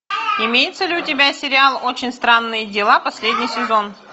имеется ли у тебя сериал очень странные дела последний сезон